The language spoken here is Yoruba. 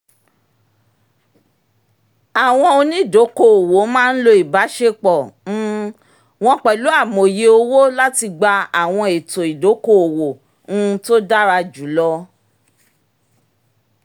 àwọn onídokòòwò máa ń lo ìbáṣepọ̀ um wọn pẹ̀lú amòye owó láti gba àwọn ètò ìdókòòwò um tó dára jù lọ